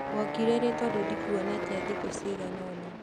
wokire rĩ tondũ ndikuonete thikũ ciagana ona?